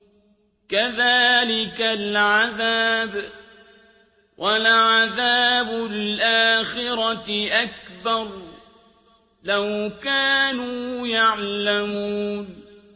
كَذَٰلِكَ الْعَذَابُ ۖ وَلَعَذَابُ الْآخِرَةِ أَكْبَرُ ۚ لَوْ كَانُوا يَعْلَمُونَ